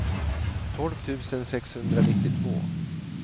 tolv tusen sexhundranittiotvå